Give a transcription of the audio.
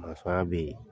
ya be yen